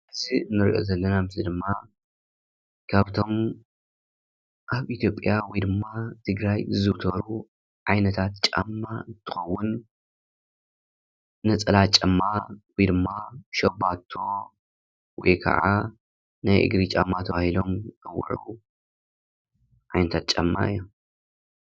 እዚ ንሪኦ ዘለና ምስሊ ድማ ካብቶም ኣብ ኢትዮጲያ ወይ ድማ ትግራይ ዝዝውተሩ ዓይነታት ጫማ እንትከውን ነፀላ ጫማ ወይ ድማ ሽባቶ ወይ ከዓ ናይ እግሪ ጫማ ተባሂሎም ዝፅውዑ ዓይነታት ጫማ እዮም ።